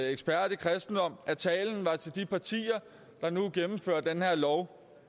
ekspert i kristendom at talen var til de partier der nu gennemfører den her lov